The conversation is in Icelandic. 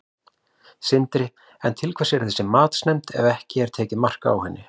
Sindri: En til hvers þessi matsnefnd ef að ekki er tekið mark á henni?